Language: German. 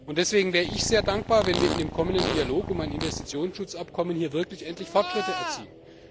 Deswegen wäre ich sehr dankbar, wenn wir in dem kommenden Dialog über ein Investitionsschutzabkommen wirklich endlich Fortschritte erzielen.